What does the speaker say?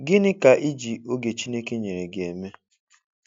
Gịnị ka I ji oge Chineke nyere gị eme?